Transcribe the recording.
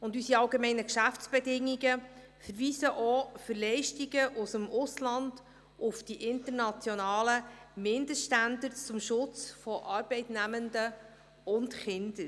Unsere AGB verweisen auch für Leistungen aus dem Ausland auf die internationalen Mindeststandards zum Schutz Arbeitnehmender und Kinder.